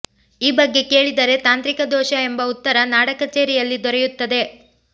ಈ ಬಗ್ಗೆ ಕೇಳಿದರೆ ತಾಂತ್ರಿಕ ದೋಷ ಎಂಬ ಉತ್ತರ ನಾಡ ಕಚೇರಿಯಲ್ಲಿ ದೊರೆಯುತ್ತದೆ